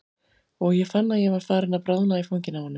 Og ég fann að ég var farin að bráðna í fanginu á honum.